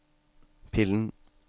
pillen